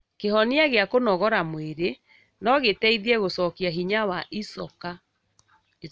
Kĩhonia gĩa kũnogora mwĩrĩ nogĩteithie gũcokia hinya wa icoka